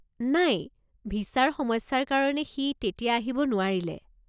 নাই, ভিছাৰ সমস্যাৰ কাৰণে সি তেতিয়া আহিব নোৱাৰিলে।